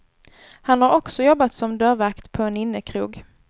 Han har också jobbat som dörrvakt på en innekrog.